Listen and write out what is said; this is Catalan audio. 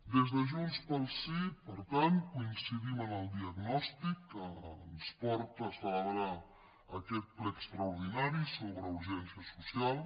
des de junts pel sí per tant coincidim en el diagnòstic que ens porta a celebrar aquest ple extraordinari sobre urgència social